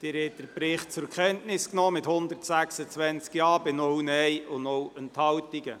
Sie haben den Bericht zur Kenntnis genommen mit 126 Ja- bei 0 Nein-Stimmen und 0 Enthaltungen.